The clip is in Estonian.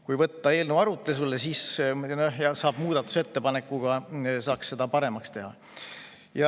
Kui võtta eelnõu arutelule, siis saab muudatusettepanekuga seda paremaks teha.